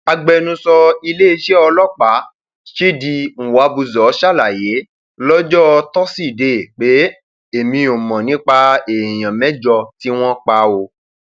agbẹnusọ iléeṣẹ ọlọpàá chidi nw abuor ṣàlàyé lọjọbọ tosidee pé èmi ò mọ nípa èèyàn mẹjọ tí wọn pa ọ